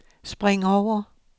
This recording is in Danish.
spring over